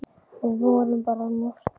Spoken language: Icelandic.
Við vorum bara að njósna,